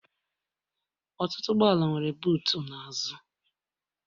Ọtụtụ ụgbọala nwere butuu n'azụ